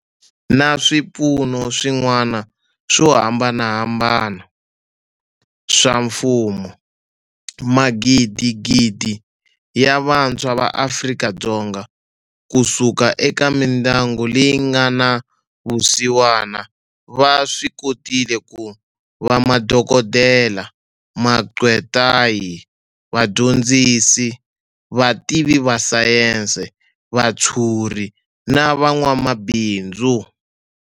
Na swipfuno swin'wana swo hambanahambana swa mfumo, magidigidi ya vantshwa va Afrika-Dzonga ku suka eka mindyangu leyi nga na vusiwana va swi kotile ku va madokodela, maqgwetai, va dyondzisi, vativi va sayense, vatshuri na van'wamabindzu.